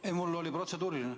Ei, mul oli protseduuriline.